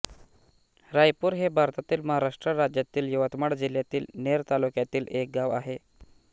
रायपूर हे भारतातील महाराष्ट्र राज्यातील यवतमाळ जिल्ह्यातील नेर तालुक्यातील एक गाव आहे